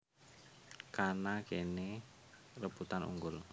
Kana kene rebutan unggul